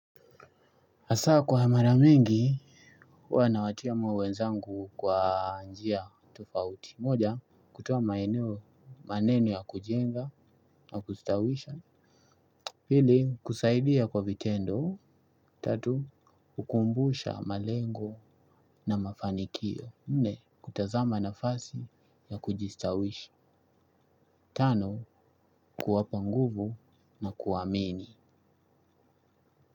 Hasa kwa hamara mingi, huwa nawatia moyo wenzangu kwa njia tofauti. Moja, kutoa maeneo maneno ya kujenga na kustawisha. Pili, kusaidia kwa vitendo. Tatu, hukumbusha malengo na mafanikio. Nne, kutazama nafasi ya kujistawisha. Tano, kuwapa nguvu na kuwaamini.